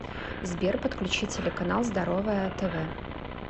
сбер подключи телеканал здоровое тв